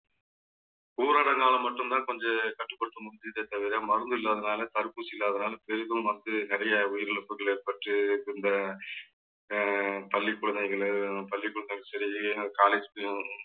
ஊரடங்காலே மட்டும்தான் கொஞ்சம் கட்டுப்படுத்த முடிஞ்சிதே தவிர மருந்து இல்லாததுனால தடுப்பூசி இல்லாததுனால பெரிதும் வந்து நிறைய உயிரிழப்புகள் ஏற்பட்டு இருந்த அஹ் பள்ளி குழந்தைகளும் பள்ளிக்கூடங்களும் சரி college லயும்